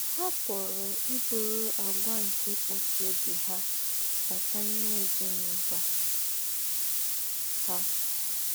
Ha pùrù íbùrù àgwà nke íkpòchí óbì ha bàtà n’íme èzín’úlọ̀ ha.